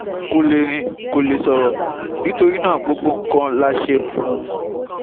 Kò lè rìn, kò lè sọ̀rọ̀, nítorí náà, gbogbo nǹkan la ṣe fún un